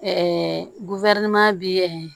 bi